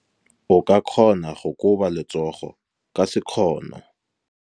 O ka kgona go koba letsogo ka sekgono.